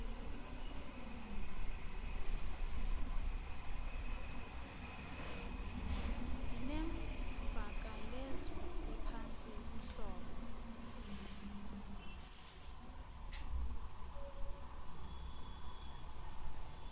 zinemvakalezwi ephantsi uhlobo